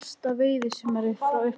Eitt besta veiðisumarið frá upphafi